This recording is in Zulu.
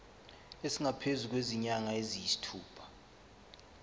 esingaphezu kwezinyanga eziyisithupha